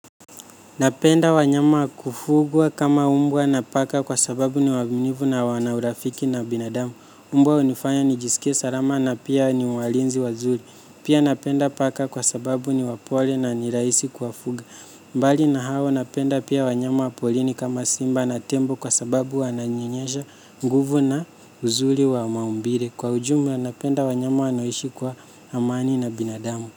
Napenda wanyama wa kufugwa kama umbwa na paka kwa sababu ni waminivu na wana urafiki na binadamu. Umbwa unifanya nijisikie salama na pia ni walinzi wazuli. Pia napenda paka kwa sababu ni wapole na ni raisi kuwafuga. Mbali na hawa napenda pia wanyama wa polini kama simba na tembo kwa sababu wananyenyesha nguvu na uzuli wa maumbire. Kwa ujumula napenda wanyama wanaoishi kwa amani na binadamu.